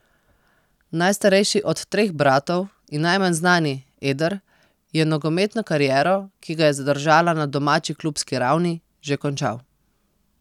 Najstarejši od treh bratov in najmanj znani, Eder, je nogometno kariero, ki ga je zadržala na domači klubski ravni, že končal.